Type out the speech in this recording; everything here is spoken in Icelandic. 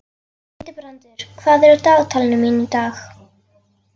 Hildibrandur, hvað er á dagatalinu mínu í dag?